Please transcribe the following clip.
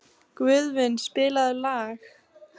Guðvin, spilaðu lag.